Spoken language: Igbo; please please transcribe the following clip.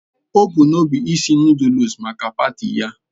O bu n'obi isi Nụ́dúlsu maka paati ya